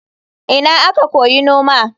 Ina aka koyi noma?